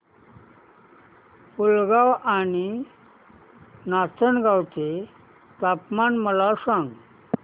पुलगांव आणि नाचनगांव चे तापमान मला सांग